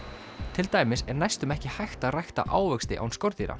til dæmis er næstum ekki hægt að rækta ávexti án skordýra